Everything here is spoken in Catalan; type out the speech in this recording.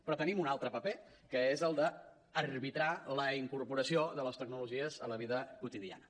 però tenim un altre paper que és el d’arbitrar la incorporació de les tecnologies a la vida quotidiana